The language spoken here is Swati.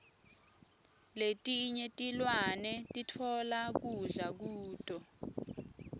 letinye tilwane sitfola kudla kuto